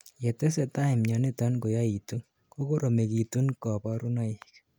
yetesetai mioniton koyaitu ,kokoromekitun kaborunoik